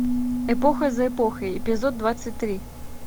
эпоха за эпохой эпизод двадцать три